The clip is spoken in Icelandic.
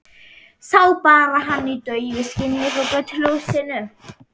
Sá bara hann í daufu skini frá götuljósinu.